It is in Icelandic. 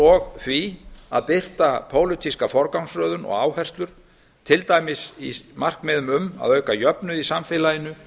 og því að birta pólitíska forgangsröðun og áherslur til dæmis í markmiðum um að auka jöfnuð í samfélaginu